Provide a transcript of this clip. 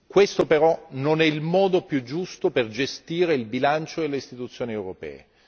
Questo però non è il modo più giusto per gestire il bilancio e le istituzioni europee.